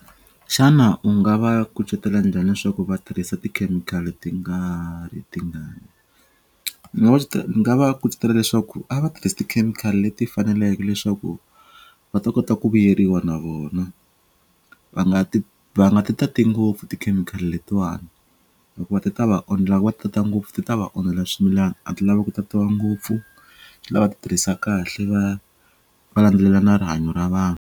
Xana u nga va kucetela njhani leswaku va tirhisa tikhemikhali ti nga ri tingani? ni nga va kucetela leswaku a va tirhisi tikhemikhali leti faneleke leswaku va ta kota ku vuyeriwa na vona va nga ti va nga ti tati ngopfu tikhemikhali letiwani hikuva ti ta va va ti tata ngopfu ti ta va onhela swimilana a ti lavi ku tatitiwa ngopfu ti lava va ti tirhisa kahle va va landzelela na rihanyo ra vanhu.